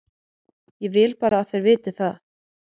Ég vil bara að þeir viti það.